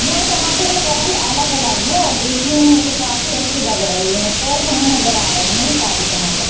यहां टमाटरों का रंग अलग-अलग है और देखने में ये काफी अच्छे लग रहे है फ्रेश हमें नजर आ रहे है सारे टमाटर।